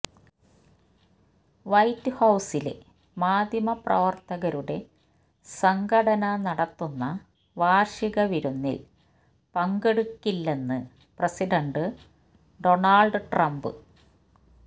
white ഹൌസിലെ മാധ്യമപ്രവര്ത്തകരുടെ സംഘടന നടത്തുന്ന വാര്ഷിക വിരുന്നില് പങ്കെടുക്കില്ലെന്ന് പ്രസിഡന്റ് ഡൊണാള്ഡ് ട്രംപ്